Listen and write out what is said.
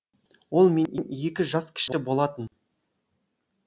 ол менен екі жас кіші болатын